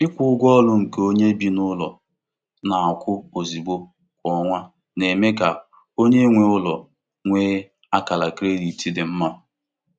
Onyenweụlọ kwusiri ike na ọ dị mkpa um ịkwụ um ụgwọ ụlọ n'oge um maka izere ụgwọ n'oge.